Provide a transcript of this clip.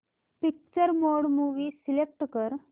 picture mode movie select कर